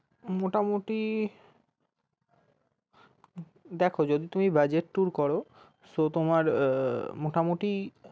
মোটামুটি দেখো যদি তুমি budget tour করো so তোমার মোটামুটি